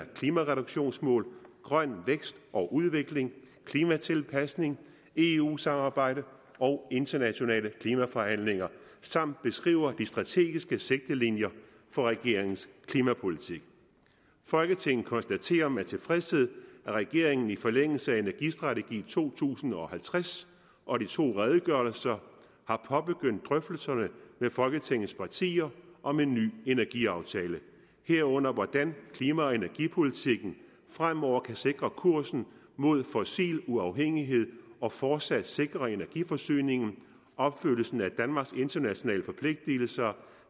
klimareduktionsmål grøn vækst og udvikling klimatilpasning eu samarbejde og internationale klimaforhandlinger samt beskriver de strategiske sigtelinjer for regeringens klimapolitik folketinget konstaterer med tilfredshed at regeringen i forlængelse af energistrategi to tusind og halvtreds og de to redegørelser har påbegyndt drøftelserne med folketingets partier om en ny energiaftale herunder hvordan klima og energipolitikken fremover kan sikre kursen mod fossil uafhængighed og fortsat sikre energiforsyningen opfyldelsen af danmarks internationale forpligtelser